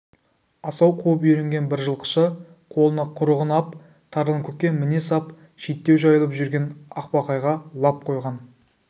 асау қуып үйренген бір жылқышы қолына құрығын ап тарланкөкке міне сап шеттеу жайылып жүрген ақбақайға лап қойған